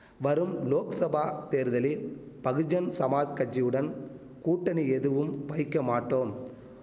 வரும் லோக்சபா தேர்தலில் பகுஜன் சமாஜ் கஜ்ஜி உடன் கூட்டணி எதுவும் வைக்க மாட்டோம்